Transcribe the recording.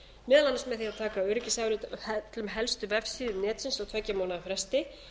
meðal annars með því að taka öryggisafrit af öllum helstu vefsíðum netsins á tveggja mánaða fresti